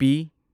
ꯄꯤ